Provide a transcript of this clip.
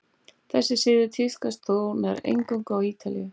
þessi siður tíðkaðist þó nær eingöngu á ítalíu